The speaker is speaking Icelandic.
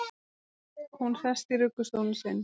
Hún sest í ruggustólinn sinn.